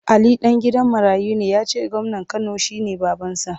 Ali ɗan gidan marayu ne ya ce gwamnan Kano shi ne babansa.